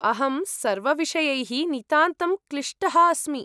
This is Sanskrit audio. अहं सर्वविषयैः नितान्तं क्लिष्टः अस्मि।